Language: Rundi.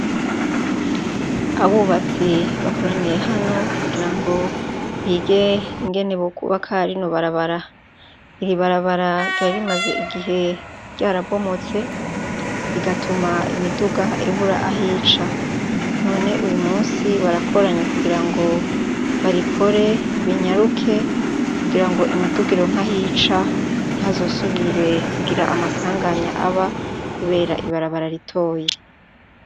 Abubatsi bakoraniye hano kugira ngo bige ingene bo kuba karino barabara iri barabara ryarimaze igihe ryarabomotse igatuma imiduga ibura ahica none uyu musi barakoranyi kugira ngo barikore binyaruke kugira ngo imidugiro nkahica ntazosubire kugira amasanganya aba, kubera ibarabara ritoye.